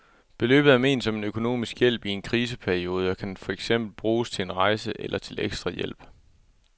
Beløbet er ment som en økonomisk hjælp i en kriseperiode og kan for eksempel bruges til en rejse eller til ekstra hjælp.